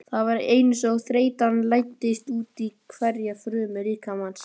Það var einsog þreytan læddist útí hverja frumu líkamans.